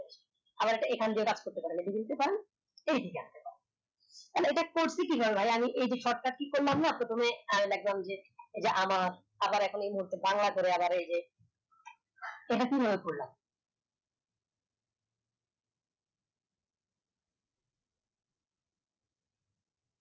আবার এটা এখান দিয়ে দাগ করে পারেন এখন এটা করছে কি আমি যে shortcut key করলাম না প্রথমে আহ লেখলাম যে আমার আবার এখন এই মুহুতে বাংলা করে এই যে এট কি ভাবে করলাম